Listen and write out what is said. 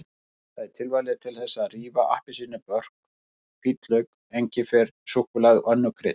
Það er tilvalið til þess að rífa appelsínubörk, hvítlauk, engifer, súkkulaði og önnur krydd.